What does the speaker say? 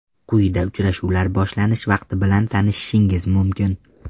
Quyida uchrashuvlar boshlanish vaqti bilan tanishishingiz mumkin.